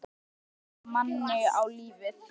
Ömmur kenna manni á lífið.